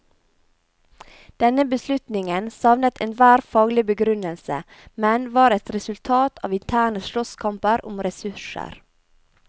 Denne beslutningen savnet enhver faglig begrunnelse, men var et resultat av interne slåsskamper om ressurser.